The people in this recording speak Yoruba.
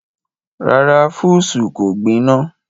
Rárá, fúùsù kò gbiná.